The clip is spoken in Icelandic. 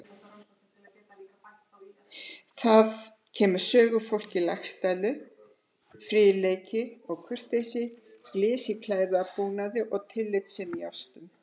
Þaðan kemur sögufólki Laxdælu fríðleiki og kurteisi, glys í klæðabúnaði og tilfinningasemi í ástum.